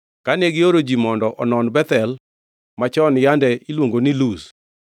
Kane gioro ji mondo onon Bethel (machon yande iluongo ni Luz),